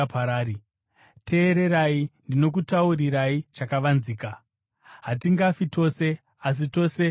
Teererai, ndinokutaurirai chakavanzika: Hatingafi tose, asi tose tichashandurwa,